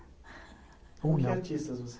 Com que artistas você